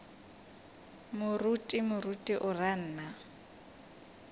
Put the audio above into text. moruti moruti o ra nna